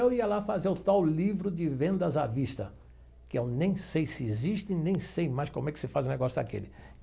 Eu ia lá fazer o tal livro de vendas à vista, que eu nem sei se existe, nem sei mais como é que se faz o negócio daquele.